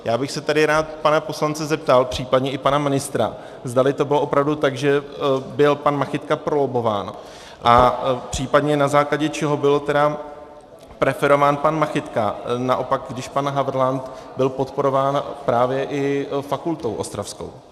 Já bych se tady rád pana poslance zeptal, případně i pana ministra, zdali to bylo opravdu tak, že byl pan Machytka prolobbován a případně na základě čeho byl tedy preferován pan Machytka, naopak, když pan Havrlant byl podporován právě i fakultou ostravskou?